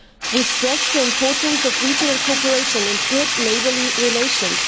We stress the importance of regional cooperation and good neighbourly relations.